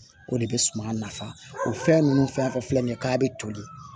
O de bɛ suman nafa o fɛn ninnu fɛn fɛn filɛ nin ye k'a bɛ toli